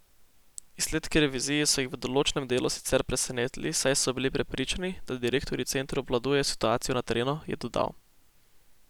Izsledki revizije so jih v določenem delu sicer presenetili, saj so bili prepričani, da direktorji centrov obvladujejo situacijo na terenu, je dodal.